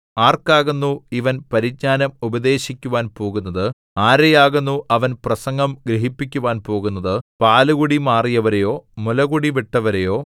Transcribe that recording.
ആർക്കാകുന്നു ഇവൻ പരിജ്ഞാനം ഉപദേശിക്കുവാൻ പോകുന്നത് ആരെയാകുന്നു അവൻ പ്രസംഗം ഗ്രഹിപ്പിക്കുവാൻ പോകുന്നത് പാലുകുടി മാറിയവരെയോ മുലകുടി വിട്ടവരെയോ